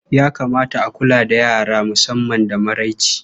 Ya kamata a kula da yara musamman da maraice.